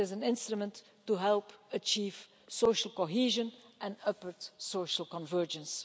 It is an instrument to help achieve social cohesion and upward social convergence.